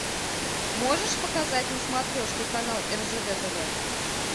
можешь показать на смотрешке канал ржд тв